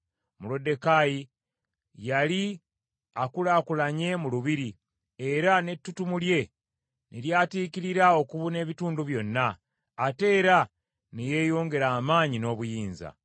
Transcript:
Moluddekaayi yali akulaakulanye mu lubiri, era n’ettutumu lye ne lyatiikirira okubuna ebitundu byonna, ate era ne yeeyongera amaanyi n’obuyinza.